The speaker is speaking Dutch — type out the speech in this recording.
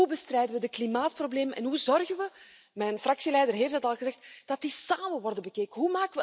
Hoe bestrijden we het klimaatprobleem en hoe zorgen we mijn fractieleider heeft het al gezegd dat die samen worden bekeken?